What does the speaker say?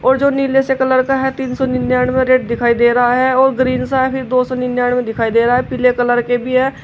वो जो नीले से कलर का है तीन सौ निन्यानबे रेट दिखाई दे रहा है और ग्रीन सा फिर दो सौ निन्यानबे दिखाई दे रहा पीले कलर के भी है।